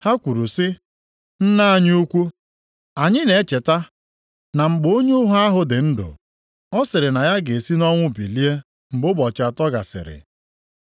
Ha kwuru sị, “Nna anyị ukwu, anyị na-echeta na mgbe onye ụgha ahụ dị ndụ, ọ sịrị na ya ga-esi nʼọnwụ bilie mgbe ụbọchị atọ gasịrị.